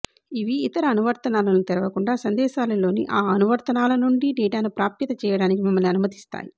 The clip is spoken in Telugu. ఇవి ఇతర అనువర్తనాలను తెరవకుండా సందేశాలులోని ఆ అనువర్తనాల నుండి డేటాను ప్రాప్యత చేయడానికి మిమ్మల్ని అనుమతిస్తాయి